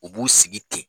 U b'u sigi ten